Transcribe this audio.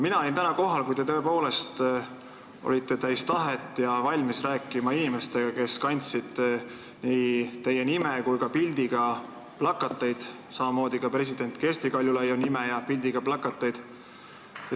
Mina olin täna kohal, kui te olite tõepoolest täis tahet ja olite valmis rääkima inimestega, kes kandsid nii teie nime kui ka pildiga plakateid, samamoodi ka president Kersti Kaljulaidi nime ja pildiga plakateid.